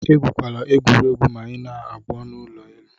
Egwukwala egwuregwu ma ị na-agbo n'ụlọ elu.